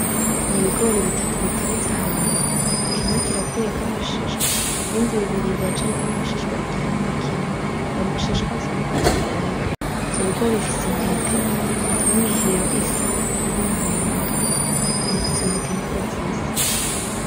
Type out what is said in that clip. Ni ibigori bitatu biteretse ahantu, kimwe kirakuyeko amashishwa ibindi bibiri biracariko amashishwa igihande kimwe, ayo mashishwa asa n'urwatsi rutoto, ivyo bigori bifise intete, n'imihiro isa n'umuhondo, izo ntete niko zisa.